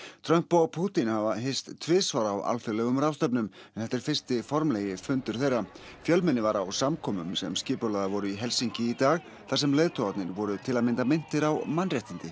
Trump og Pútín hafa hist tvisvar á alþjóðlegum ráðstefnum en þetta er fyrsti formlegi fundur þeirra fjölmenni var á samkomum sem skipulagðar voru í Helsinki í dag þar sem leiðtogarnir voru til að mynda minntir á mannréttindi